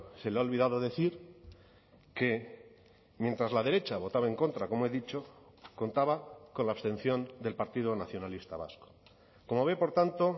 se le ha olvidado decir que mientras la derecha votaba en contra como he dicho contaba con la abstención del partido nacionalista vasco como ve por tanto